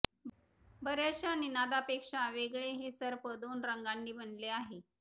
बर्याचश्या निनादापेक्षा वेगळे हे सर्प दोन रंगांनी बनले आहे